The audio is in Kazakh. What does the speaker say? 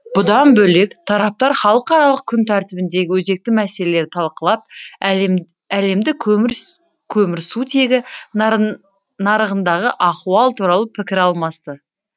бұдан бөлек тараптар халықаралық күн тәртібіндегі өзекті мәселелерді талқылап әлемдік көмірсутегі нарығындағы ахуал туралы пікір алмасты